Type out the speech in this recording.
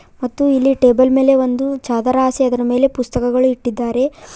ಮತ್ತು ಇಲ್ಲಿ ಟೇಬಲ್ ಮೇಲೆ ಒಂದು ಚಾದರ ಆಸಿ ಅದರ ಮೇಲೆ ಪುಸ್ತಕಗಳು ಇಟ್ಟಿದ್ದಾರೆ.